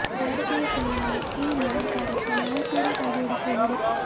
ಭಾರತೀಯ ಸೇನೆಯ ಈ ಮಹಾ ಕಾರ್ಯಕ್ಕೆ ನಾವೂ ಕೂಡಾ ಕೈ ಜೋಡಿಸಬಹುದು